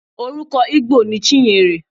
Orúkọ Igbo ni Chinyere.